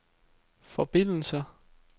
forbindelser